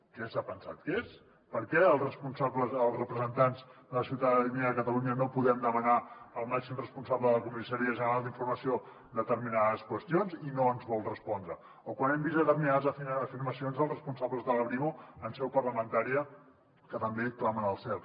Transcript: què s’ha pensat que és per què els representants de la ciutadania de catalunya no podem demanar al màxim responsable de la comissaria general d’informació determinades qüestions i no ens vol respondre o quan hem vist determinades afirmacions dels responsables de la brimo en seu parlamentària que també clamen al cel